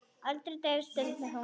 Aldrei dauf stund með ömmu.